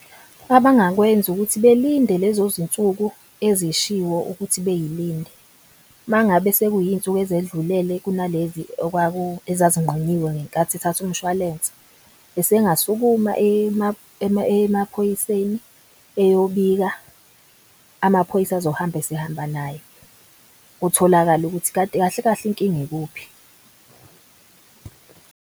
Abangakwenza ukuthi belinde lezo zinsuku ezishiwo ukuthi beyilindele. Uma ngabe sekuyinsuku ezedlulele kunalezi ezazinqunyiwe ngenkathi ethatha umshwalense esengasukuma eye emaphoyiseni eyobika. Amaphoyisa azohamba esehamba naye, kutholakale ukuthi kahle kahle inkinga ikuphi.